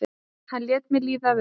hann lét mér líða vel.